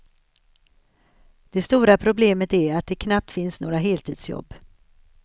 Det stora problemet är att det knappt finns några heltidsjobb.